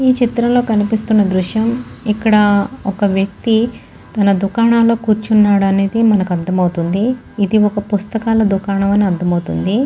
ఈ చిత్రంలో కనిపిస్తున్న దృశ్యం ఇక్కడ ఒక వ్యక్తి తన దుకాణంలో కూచున్నాడు అనేది మనకి అర్ధం అవ్తుంది. ఇది ఒక పుస్తకాల దుకాణం అని అర్ధం అవ్తుంది.